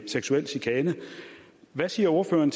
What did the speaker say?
seksuel chikane hvad siger ordføreren